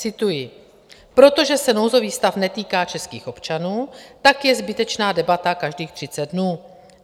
Cituji: Protože se nouzový stav netýká českých občanů, tak je zbytečná debata každých 30 dnů.